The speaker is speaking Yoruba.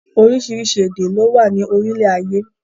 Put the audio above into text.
Oríṣiríṣi èdè ló wà ní orílẹ̀ ayé.